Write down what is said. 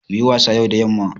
Muyi wasa yau da yamma